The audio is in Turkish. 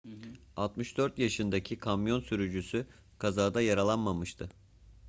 64 yaşındaki kamyon sürücüsü kazada yaralanmamıştı